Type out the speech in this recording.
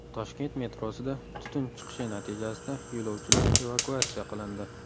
Toshkent metrosida tutun chiqishi natijasida yo‘lovchilar evakuatsiya qilindi.